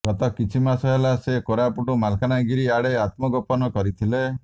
ଗତ କିଛି ମାସ ହେଲା ସେ କୋରାପୁଟ ମାଲକାନାଗିରି ଆଡ଼େ ଆତ୍ମଗୋପନ କରିଥିଲେ